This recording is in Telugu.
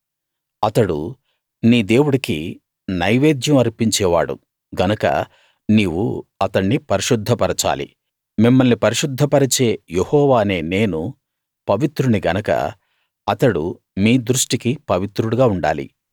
అతడు నీ దేవుడికి నైవేద్యం అర్పించే వాడు గనక నీవు అతణ్ణి పరిశుద్ధపరచాలి మిమ్మల్ని పరిశుద్ధ పరిచే యెహోవా అనే నేను పవిత్రుణ్ణి గనక అతడు మీ దృష్టికి పవిత్రుడుగా ఉండాలి